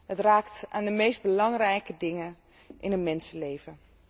Het raakt aan de meest belangrijke dingen in een mensenleven.